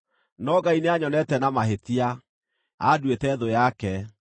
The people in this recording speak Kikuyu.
No Ngai nĩanyonete na mahĩtia; anduĩte thũ yake.